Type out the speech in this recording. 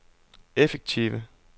effektive